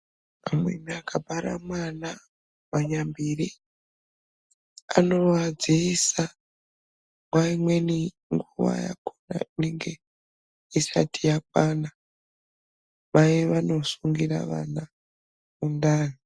Amweni aka bara mwana pa nyambire anova dziisa nguva imweni nguva yakona inenge isati yakwana mai vano sungira vana mundani.